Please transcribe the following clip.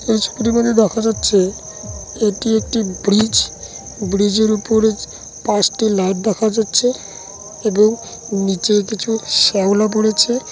এই ছবিটিতে দেখা যাচ্ছে এটি একটি ব্রিজ ব্রিজ -এর উপরে পাঁচটি লাইট দেখা যাচ্ছে। এবং নিচে কিছু শ্যাওলা পড়েছে--